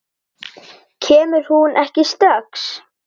Kemur hún ekki strax?